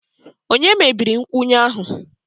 Ònye mebiri nkwụnye ahụ?